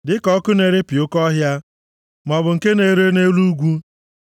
Dịka ọkụ na-erepịa oke ọhịa, maọbụ nke na-ere nʼelu ugwu,